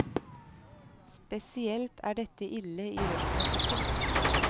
Spesielt er dette ille i rushtrafikken.